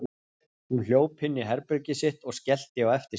Hún hljóp inn í herbergið sitt og skellti á eftir sér.